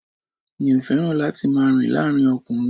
Mi ò fẹ́ràn láti máa rìn láàárín ọkùnrin